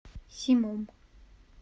симом